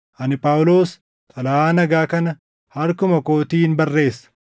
Ani Phaawulos, xalayaa nagaa kana harkuma kootiin barreessa.